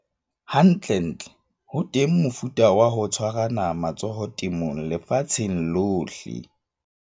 Hantlentle, ho teng mofuta wa ho tshwarana matsoho temong lefatsheng lohle.